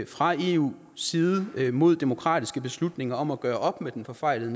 fra eus side mod demokratiske beslutninger om at gøre op med den forfejlede